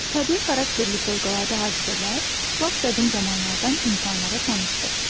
Təbii xarakterli fövqəladə hadisələr lap qədim zamanlardan insanlara tanışdır.